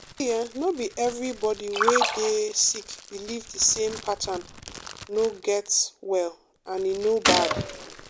see[um]no be everybody wey dey sick believe the same pattern no get well and e no bad.